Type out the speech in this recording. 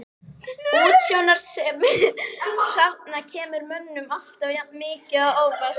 Útsjónarsemi hrafna kemur mönnum alltaf jafn mikið á óvart.